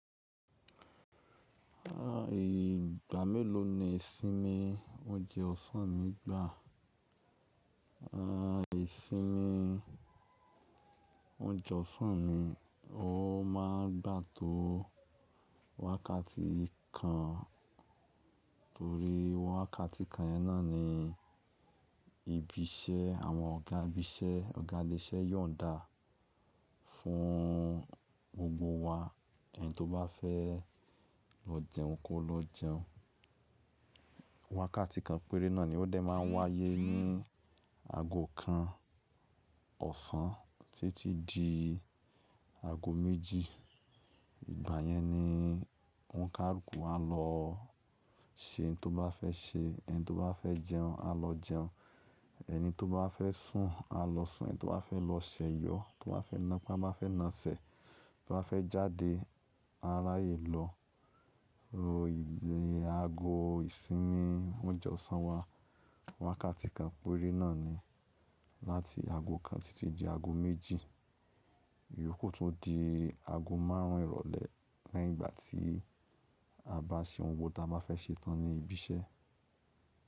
À ìgbà mélòó ni ìsinmi oúnjẹ ọ̀sán mi gbà? À ìsinmi oúnjẹ ọ̀sán mi, ó máa ń gbà tó wákàtí kan torí wákàtí kan yẹn náà ni ibi iṣẹ́ àwọn ọ̀gá ibi iṣẹ́, ọ̀gá ilé iṣẹ́ yón dàá fún gbogbo wa. Ẹni tó bá fẹ́ lọ jẹun kó lọ jẹun. Wákàtí kan péré náà ni ó dé máa ń wáyé ní ago kan ọ̀sán títí di ago méjì. Ìgbà yẹn ni òǹkà rúkù a lọ ṣe ohun tó bá fẹ́ ṣe, ẹni tó bá fẹ́ jẹun a lọ jẹun, ẹni tó bá fẹ́ sùn a lọ sùn, ẹni tó bá fẹ́ lọ ṣẹ̀yọ́, tó bá fẹ́ nàápá máa fẹ́ na sẹ̀, tó bá fẹ́ jáde aráyé lọ. Ro iye ago ìsinmi oúnjẹ ọ̀sán wa wákàtí kan péré náà ni láti ago kan títí di ago méjì, ìyókù tún di ago márùn ún ìrọ̀lẹ́ lẹ́yìn ìgbà tí a bá ṣe ohun gbogbo tí a bá fẹ́ ṣe tán ní ibi iṣẹ́.